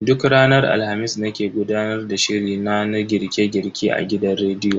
Duk ranar Alhamis nake gudanar da shiri na na girke girke a gidan rediyo.